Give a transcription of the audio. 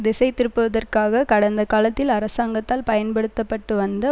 திசை திருப்புவதற்காக கடந்த காலத்தில் அரசாங்கத்தால் பயன்படுத்த பட்டு வந்த